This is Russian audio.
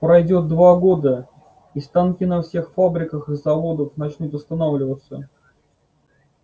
пройдёт два года и станки на всех фабриках и заводах начнут останавливаться